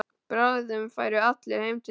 Bráðum færu allir heim til sín.